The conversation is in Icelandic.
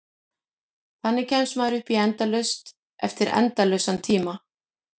Þannig kemst maður upp í endalaust eftir endalausan tíma.